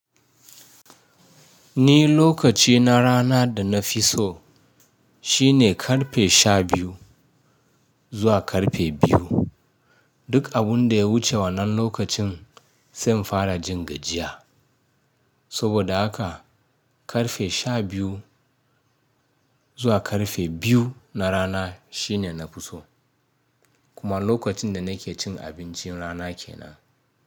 Ni lokaci na rana da na fi so, shine ƙarfe sha biyu zuwa ƙarfe biyu. Duk abin da ya wuce wannan lokacin, sai na fara jin gajiya. Saboda haka, ƙarfe sha biyu zuwa ƙarfe biyu na rana shine na fi so. Kuma lokacin da nake cin abincin rana ke nan.